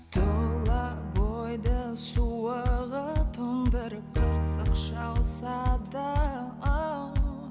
тұла бойды суығы тоңдырып қырсық шалса да оу